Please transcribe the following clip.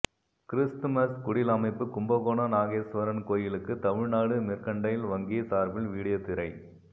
Christmas குடில் அமைப்பு கும்பகோணம் நாகேஸ்வரன் கோயிலுக்கு தமிழ்நாடு மெர்க்கன்டைல் வங்கி சார்பில் வீடியோ திரை